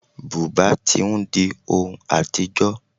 Bùbá tí ń di ohun àtijọ́.